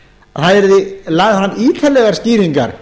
að það yrðu lagðar fram ítarlegar skýringar